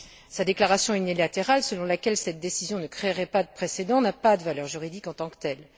Sa déclaration unilatérale selon laquelle cette décision ne créerait pas de précédent n'a pas de valeur juridique en tant que telle.